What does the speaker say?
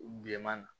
Bilenman na